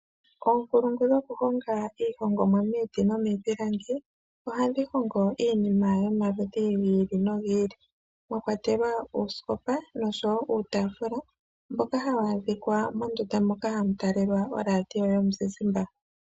Oonkulungu dhokuhonga iihongomwa miiti nomiipilangi ohadhi hongo iinima yomaludhi giili no giili mwa kwatelwa oosikopa noshowo uutafula mboka hawu adhika mondunda moka hamu talelwa oradio yomuzizimbe.